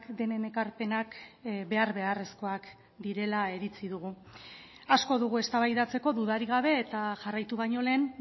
denen ekarpenak behar beharrezkoak direla iritzi dugu asko dugu eztabaidatzeko dudarik gabe eta jarraitu baino lehen